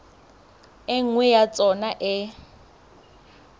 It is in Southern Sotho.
e nngwe ya tsona e